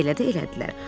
Elə də elədilər.